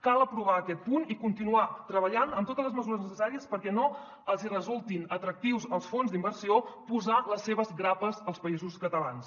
cal aprovar aquest punt i continuar treballant amb totes les mesures necessàries perquè no els hi resulti atractiu als fons d’inversió posar les seves grapes als països catalans